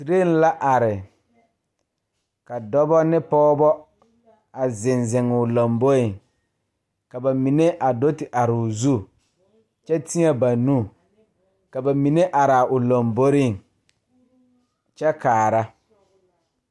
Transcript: Train la are ka dɔbɔ ne pɔɔbɔ a zeŋ zeŋoo lamboeŋ ka ba mine a do te aroo zu kyɛ teɛ ba nu ka ba mine araa o lomboreŋ kyɛ kaara.